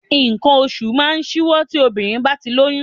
Nǹkan oṣù máa ń ṣíwọ́ tí obìnrin bá ti lóyún